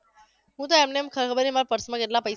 હું તો એમનેમ ખબર નથી મારા purse માંં કેટલા પૈ